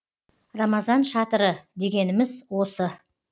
рамазан шатыры дегеніміз осы